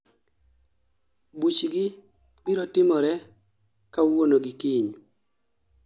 buchgi birotimore kawuono gi kiny